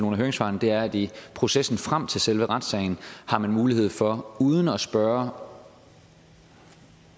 høringssvarene er at i processen frem til selve retssagen har man mulighed for uden at spørge